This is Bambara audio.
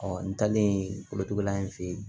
n talen kolotuguda in fɛ yen